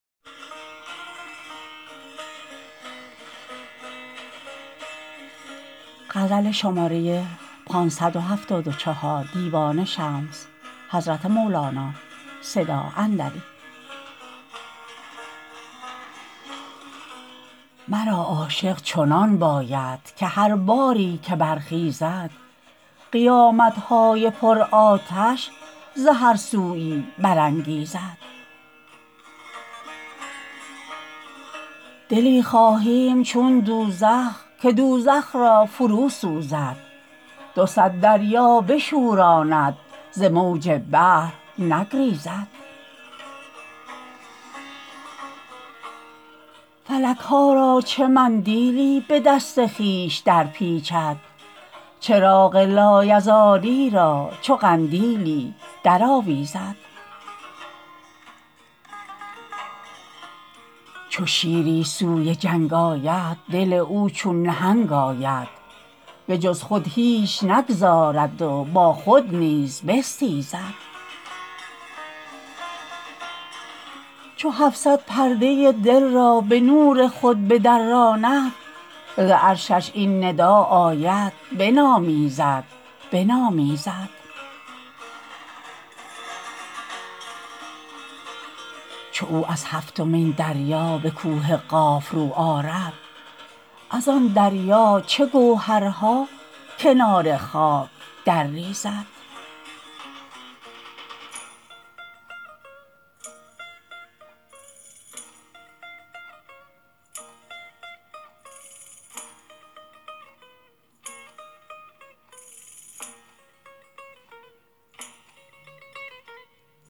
مرا عاشق چنان باید که هر باری که برخیزد قیامت های پرآتش ز هر سویی برانگیزد دلی خواهیم چون دوزخ که دوزخ را فروسوزد دو صد دریا بشوراند ز موج بحر نگریزد ملک ها را چه مندیلی به دست خویش درپیچد چراغ لایزالی را چو قندیلی درآویزد چو شیری سوی جنگ آید دل او چون نهنگ آید به جز خود هیچ نگذارد و با خود نیز بستیزد چو هفت صد پرده ی دل را به نور خود بدراند ز عرشش این ندا آید بنامیزد بنامیزد چو او از هفتمین دریا به کوه قاف رو آرد از آن دریا چه گوهرها کنار خاک درریزد